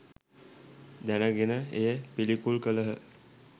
දැන ගෙන එය පිළිකුල් කළහ